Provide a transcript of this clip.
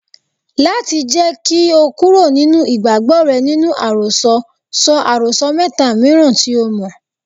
Láti jẹ́ kí o kúrò nínú ìgbàgbọ́ rẹ nínú àròsọ, sọ àròsọ mẹ́ta mìíràn tí o mọ̀.